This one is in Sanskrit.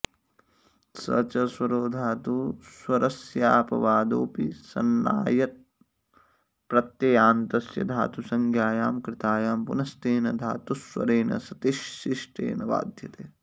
स च स्वरो धातुस्वरस्यापवादोऽपि सन्नायप्रत्ययान्तस्य धातुसंज्ञायां कृतायां पुनस्तेन धातुस्वरेण सतिशिष्टेन बाध्यते